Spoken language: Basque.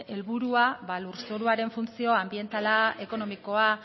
helburua ba lurzoruaren funtzio anbientala ekonomikoa